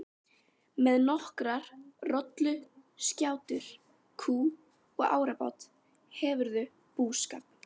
Með nokkrar rolluskjátur, kú og árabát hefurðu búskap.